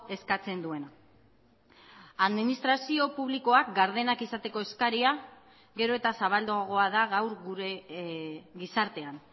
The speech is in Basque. eskatzen duena administrazio publikoak gardenak izateko eskaria gero eta zabalduagoa da gaur gure gizartean